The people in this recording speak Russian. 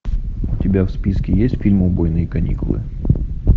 у тебя в списке есть фильм убойные каникулы